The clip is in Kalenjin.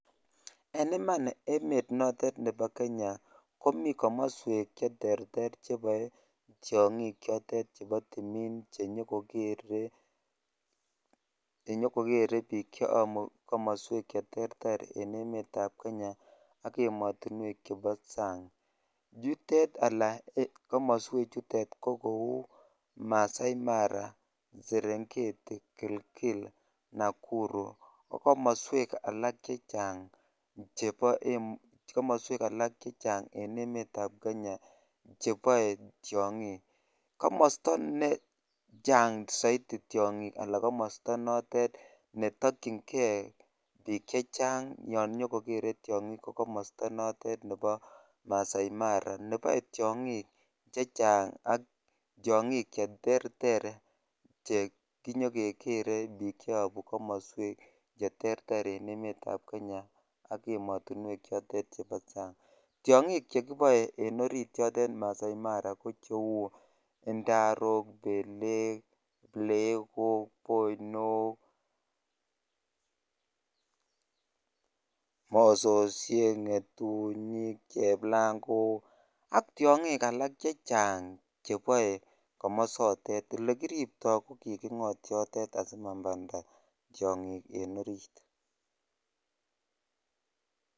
En iman emet notet nebo kenya komii komoswek cheterter cheboe tiong'ik chotet chenyo kokere biik cheyobu komoswek cheterter en emetab Kenya ak emotinwek chebo sang, yutet alaa komoswe chutet ko kou Maasai Mara, Serengeti, kilgil, Nakuru ak komoswek alak chechang en emetab Kenya cheboe tiong'ik, komosto nechang soiti tiong'ik alaa komosto notet netokying'e biik chechang yoon inyokokere tiong'ik ko komosto notet nebo Maasai Mara neboe tiong'ik chechang ak tiong'ik cheterter chenyo kokere biik cheyobu komoswek cheterter en emetab Kenya ak emotinwek chotet chebo sang, tiong'ik chotet chekiboe en orit yotet Maasai Mara ko cheuu indarok, beleek, plekok, boinook, mososiek, ngetunyik, cheplangok ak tiong'ik alak chechang cheboe komosotet, elekiripto ko kiking'ot yotet asimamanda tiong'ik en oriit.